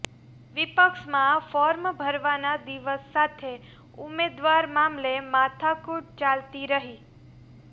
વિપક્ષમાં form ભરવાના દિવસ સાથે ઉમેદવાર મામલે માથાકૂટ ચાલતી રહી